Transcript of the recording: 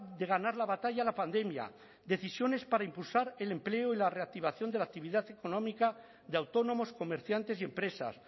de ganar la batalla a la pandemia decisiones para impulsar el empleo y la reactivación de la actividad económica de autónomos comerciantes y empresas